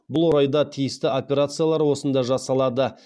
бұл орайда тиісті операциялар осында жасалады